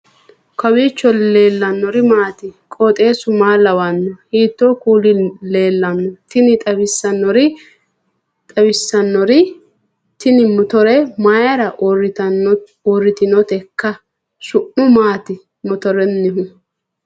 kowiicho leellannori maati ? qooxeessu maa lawaanno ? hiitoo kuuli leellanno ? tini xawissannori tini motore mayra uurritinoteikka su'mu maati motorennihu